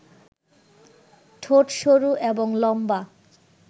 ঠোট সরু এবং লম্বা